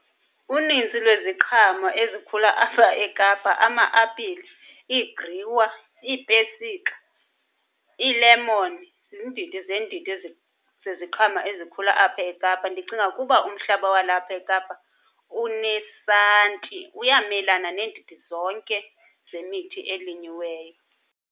Uninzi lweziqhamo ezikhula apha eKapa ama-apile, iigriwa, iipesika, iilemoni ziindidi zeendidi zeziqhamo ezikhula apha eKapa. Ndicinga ukuba umhlaba walapha eKapa unesanti uyamelana neendidi zonke zemithi elinyiweyo.